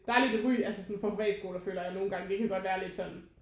Der lidt et ry altså for privatskoler føler jeg nogen gange det kan godt være lidt sådan